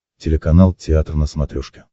телеканал театр на смотрешке